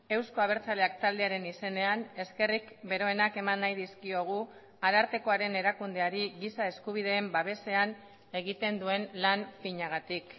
euzko abertzaleak taldearen izenean eskerrik beroenak eman nahi dizkiogu arartekoaren erakundeari giza eskubideen babesean egiten duen lan finagatik